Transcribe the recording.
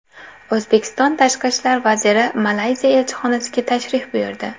O‘zbekiston Tashqi ishlar vaziri Malayziya elchixonasiga tashrif buyurdi.